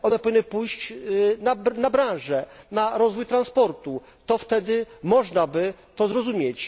One powinny pójść na branżę, na rozwój transportu, to wtedy można by to zrozumieć.